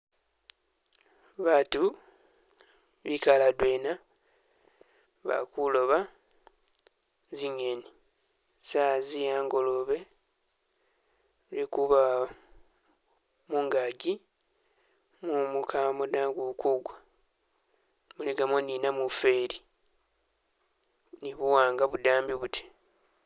Baatu bikale adwena bali kulooba zi'ngeni. Sawa zi a'ngolobe lwekuba mungaki mumu kamo da guli ku gwa muligamo ni namufeli ni buwanga budambi buti.